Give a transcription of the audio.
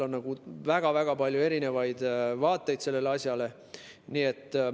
On väga-väga palju erinevaid vaateid sellele asjale.